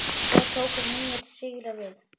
Svo tóku nýir sigrar við.